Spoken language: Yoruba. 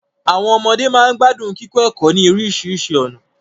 Àwọn ọmọde máa ń gbádùn kíkọ ẹ̀kọ́ ní oríṣiríṣi ọ̀nà